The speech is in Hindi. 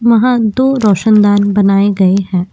वहाँ दो रोशनदान बनाए गए हैं।